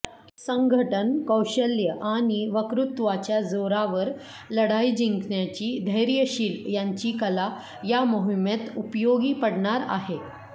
संघटन कौशल्य आणि वक्तृत्वाच्या जोरावर लढाई जिंकण्याची धैर्यशील यांची कला या मोहिमेत उपयोगी पडणार आहे